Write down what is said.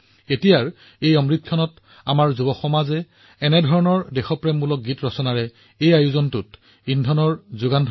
এতিয়া অমৃতকালত আমাৰ যুৱকযুৱতীসকলে একে ধৰণৰ দেশপ্ৰেমমূলক গীত লিখি এই অনুষ্ঠানত অধিক শক্তি যোগ কৰিব পাৰে